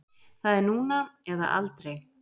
Það er núna eða aldrei.